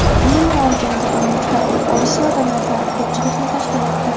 Umuman olganda, o‘nlikda Osiyo davlatlari ko‘pchilikni tashkil etdi.